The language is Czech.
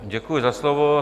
Děkuji za slovo.